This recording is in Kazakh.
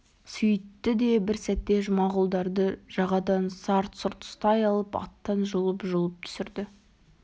сүйтті де бір сәтте жұмағұлдарды жағадан сарт-сұрт ұстай алып аттан жұлып-жұлып түсірді